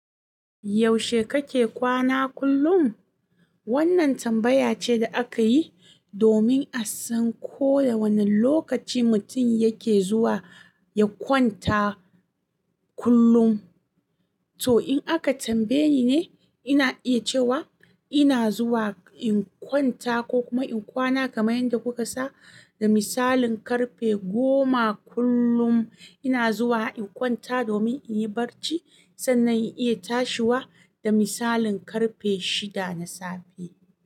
Yaushe kake kwana kullum? Wannan tambaya ce da aka yi domin a san ko da wane lokaci mutum yake zuwa ya kwanta kullum. To in aka tambaye ni ne, ina iya cewa ina zuwa in kwanta ko kuma in kwana kamar yadda kuka sani, da misalin karfe goma kullum ina zuwa in kwanta domin in yi barci sannan in iya tashiwa da misalin karfe shida na safe.